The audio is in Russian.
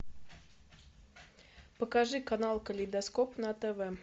покажи канал калейдоскоп на тв